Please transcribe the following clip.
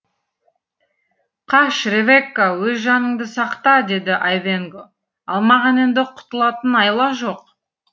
қаш ревекка өз жаныңды сақта деді айвенго ал маған енді құтылатын айла жоқ